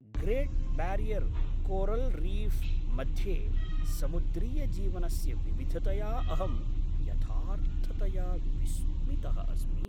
Great Barrier coral reef मध्ये समुद्रीयजीवनस्य विविधतया अहं यथार्थतया विस्मितः अस्मि।